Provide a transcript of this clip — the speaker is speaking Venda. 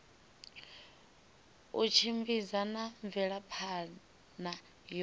u tshimbidza na mvelaphana yo